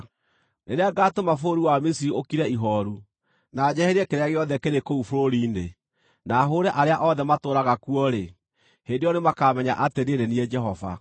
Rĩrĩa ngaatũma bũrũri wa Misiri ũkire ihooru, na njeherie kĩrĩa gĩothe kĩrĩ kũu bũrũri-inĩ, na hũũre arĩa othe matũũraga kuo-rĩ, hĩndĩ ĩyo nĩmakamenya atĩ niĩ nĩ niĩ Jehova.’